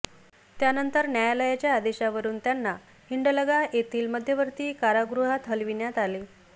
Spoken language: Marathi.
त्यानंतर न्यायालयाच्या आदेशावरून त्यांना हिंडलगा येथील मध्यवर्ती कारागृहात हलविण्यात आले